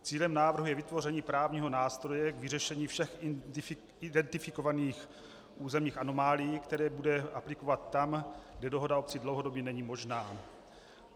Cílem návrhu je vytvoření právního nástroje k vyřešení všech identifikovaných územních anomálií, které lze aplikovat tam, kde dohoda obcí dlouhodobě není možná.